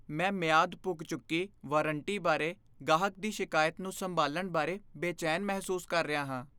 ਮੈਂ ਮਿਆਦ ਪੁੱਗ ਚੁੱਕੀ ਵਾਰੰਟੀ ਬਾਰੇ ਗਾਹਕ ਦੀ ਸ਼ਿਕਾਇਤ ਨੂੰ ਸੰਭਾਲਣ ਬਾਰੇ ਬੇਚੈਨ ਮਹਿਸੂਸ ਕਰ ਰਿਹਾ ਹਾਂ।